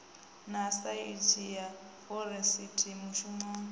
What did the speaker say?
na saintsi ya forensikhi mushumi